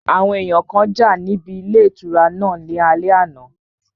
Àwọn èèyàn kan jà níbi ilé ìtura náà ní alẹ́ àná